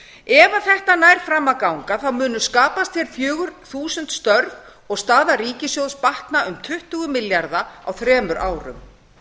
ef þetta nær fram að ganga munu skapast hér fjögur þúsund störf og staða ríkissjóðs batna um tuttugu milljarða á þremur árum